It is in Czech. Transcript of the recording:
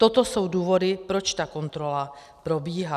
Toto jsou důvody, proč ta kontrola probíhá.